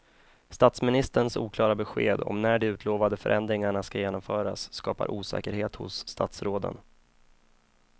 Statsministerns oklara besked om när de utlovade förändringarna ska genomföras skapar osäkerhet hos statsråden.